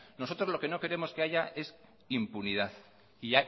nosotros lo que no queremos que haya es impunidad y